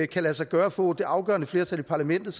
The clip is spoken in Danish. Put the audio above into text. kan lade sig gøre at få det afgørende flertal i parlamentet